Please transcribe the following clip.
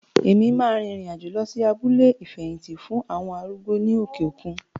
Mo ma rìrìn àjò lọ sí abúlé ìfẹ̀hìtì fún àwọn arúgbó ní òkè òkun.